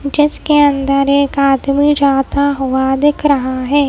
जिसके अंदर एक आदमी जाता हुआ दिख रहा है।